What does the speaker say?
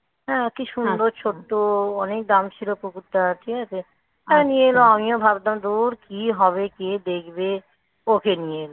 কি সুন্দর. সুন্দর ছোট্ট, অনেক দাম ছিল কুকুরটার হ্যাঁ নিয়ে এলো. আমিও ভাবতাম ধুর কি হবে? কে দেখবে. ওকে নিয়ে যাবে.